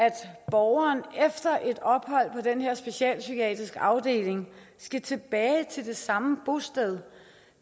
borgeren efter et ophold på den her specialpsykiatriske afdeling skal tilbage til det samme bosted